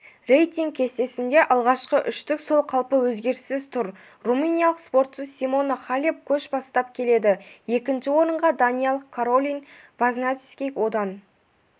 рейтинг кестесіндегі алғашқы үштік сол қалпы өзгеріссіз тұр румыниялық спортшы симона халеп көш бастап келеді екінші орынға даниялық каролин возняцки одан